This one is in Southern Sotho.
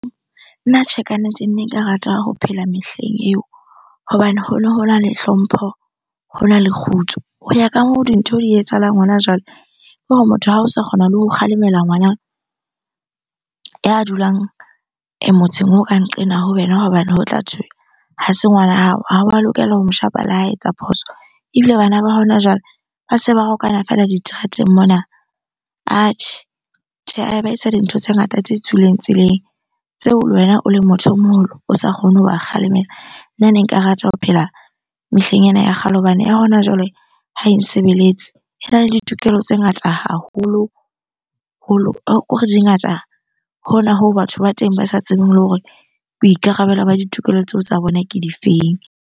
Nna tjhe, kannete ne nka rata ho phela mehleng eo hobane hono hona le hlompho, hona le kgutso. Ho ya ka moo dintho di etsahalang hona jwale, ke hore motho ha o sa kgona le ho kgalemela ngwana ya dulang motseng oo ka nqena ho wena hobane ho tla thwe ha se ngwana hao, ha wa lokela ho mo shapa le ha etsa phoso. Ebile bana ba hona jwale ba se ba rwakana feela diterateng mona. Atjhe, tjhe ba etsa dintho tse ngata tse tswileng tseleng. Tseo le wena o le motho o moholo o sa kgone hoba kgalemela. Nna ne nka rata ho phela mehleng ena ya kgale hobane ya hona jwale ha e nsebeletse. Ena le ditokelo tse ngata haholoholo. Ke hore di ngata hona hoo batho ba teng ba sa tsebeng le hore boikarabelo ba ditokelo tseo tsa bona ke difeng?